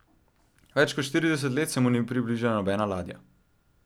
Več kot štirideset let se mu ni približala nobena ladja.